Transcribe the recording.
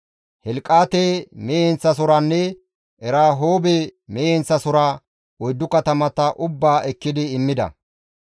Helqaate mehe heenththasohoranne Erahoobe mehe heenththasohora, oyddu katamata ubbaa ekkidi immida.